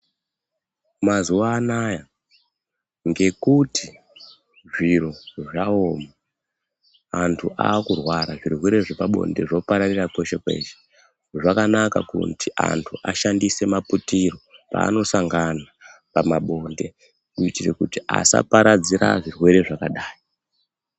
Mazuva anaya ngekuti zviro zvaoma antu akurwara zvirwere zvepabonde zvopararira kweshe-kweshe. Zvakanaka kuti antu ashandise putiro paanosangana pamabonde kutira kuti asaparadzira zvirwere zvakadai.